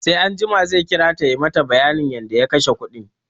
Sai anjima zai kirata ya mata bayanin yadda ya kashe kuɗin